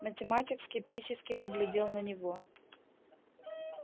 математик скептически поглядел на него